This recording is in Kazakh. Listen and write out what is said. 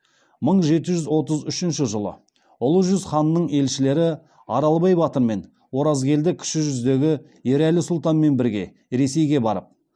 мың жеті жүз отыз үшінші жылы ұлы жүз ханының елшілері аралбай батыр мен оразкелді кіші жүздегі ерәлі сұлтанмен бірге ресейге барып